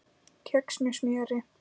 Kex með smjöri